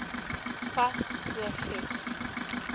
fas so vroeg